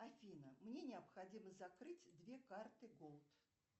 афина мне необходимо закрыть две карты голд